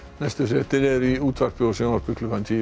næstu fréttir eru í útvarpi og sjónvarpi klukkan tíu